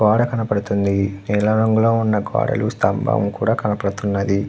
గోడ కనపడుతుంది నీలం రంగు లో ఉన్న గోడలు స్తంభం కూడా కనపడుతున్నది.